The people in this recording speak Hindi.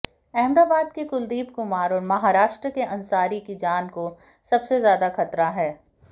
अहमदाबाद के कुलदीप कुमार और महाराष्ट्र के अंसारी की जान को सबसे ज्यादा खतरा है